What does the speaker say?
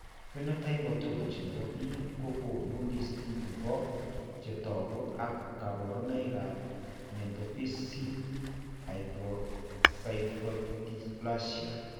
Phenotype ontology nebo biik kokoonu listini bo chetogu ak kaborunoik ab metaphyseal acroscyphodysplasia